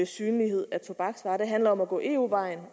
synlighed af tobaksvarer det handler om at gå eu vejen